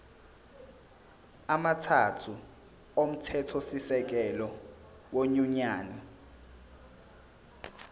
amathathu omthethosisekelo wenyunyane